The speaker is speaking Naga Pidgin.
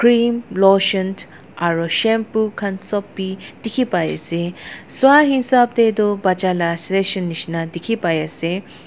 cream lotion aro shampoo khan bi sop dikhi pai ase sai hisab tae toh bacha la session nishina dikhipaiase.